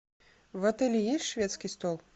в отеле есть шведский стол